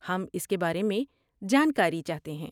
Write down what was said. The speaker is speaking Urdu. ہم اس کے بارے میں جانکاری چاہتے ہیں۔